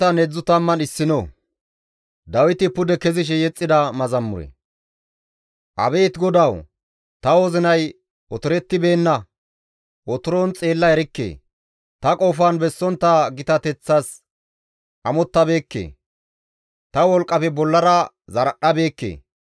Abeet GODAWU! Ta wozinay otorettibeenna; tani otoron xeella erikke; ta qofan bessontta gitateththas amottabeekke; ta wolqqafe bollara zaradhdhabeekke.